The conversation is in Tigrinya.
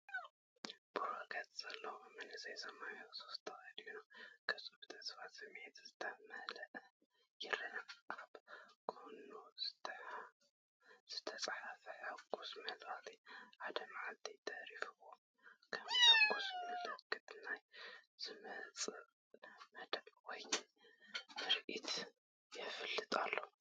ቡሩህ ገጽ ዘለዎ መንእሰይ ሰማያዊ ሱፍ ተኸዲኑ፡ ገጹ ብተስፋን ስምዒትን ዝተመልአ ይረአ። ኣብ ጎድኑ ዝተጻሕፈ ሕጉስ መልእኽቲ “1 መዓልቲ ተሪፍዎ!”፡ ከም ሕጉስ ምልክታ ናይ ዝመጽእ መደብ ወይ ምርኢት የፋልጥ ኣሎ።